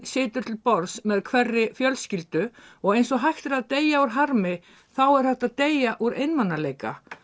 situr til borðs með hverri fjölskyldu og eins og hægt er að deyja úr harmi þá er hægt að deyja úr einmanaleika